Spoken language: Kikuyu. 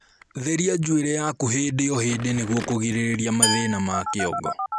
Therĩa njuiri yaku hĩndĩ o hĩndĩ nĩguo kũgirĩrĩrĩa mathĩna ma kĩongo